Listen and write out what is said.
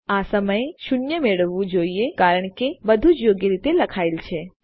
આપણને આ સમયે શૂન્ય મળવું જોઈએ કારણ કે બધું જ યોગ્ય રીતે લખાયેલ છે